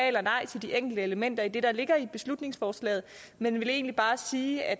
eller nej til de enkelte elementer i det der ligger i beslutningsforslaget men vil egentlig bare sige at